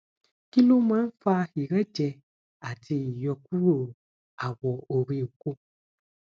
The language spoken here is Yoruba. kí ló máa ń fa ìrẹjẹ àti ìyókùro awo ori oko